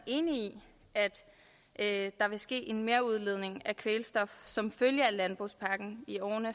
enig i at der vil ske en merudledning af kvælstof som følge af landbrugspakken i årene